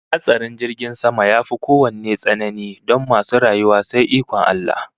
Hatsarin jirgin sama yafi kowanne tsanani don masu rayuwa sai ikon Allah